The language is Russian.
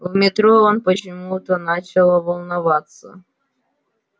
в метро он почему-то начал волноваться